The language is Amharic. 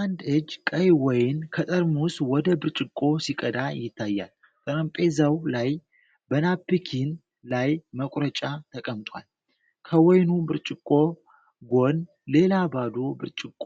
አንድ እጅ ቀይ ወይን ከጠርሙስ ወደ ብርጭቆ ሲቀዳ ይታያል። ጠረጴዛው ላይ በናፕኪን ላይ መቁረጫ ተቀምጧል። ከወይኑ ብርጭቆ ጎን ሌላ ባዶ ብርጭቆ